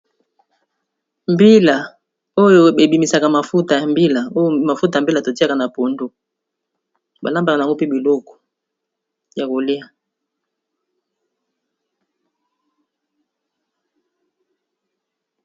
Mbila oyo ebimisaka mafuta ya mbila, oyo mafuta ya mbila to tiaka na pondu ba lambaka nango mpe biloko ya kolia.